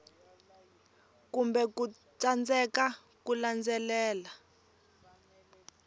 kumbe ku tsandzeka ku landzelela